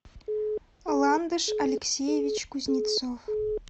ландыш алексеевич кузнецов